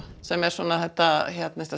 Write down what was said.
sem er svona þetta